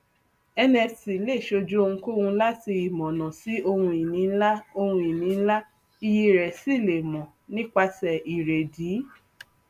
nft lè ṣojú ohunkóhun láti ìmọọnà sí ohunìní ńlá ohunìní ńlá iyì rẹ sì lè mọ nípasẹ ìrèdíi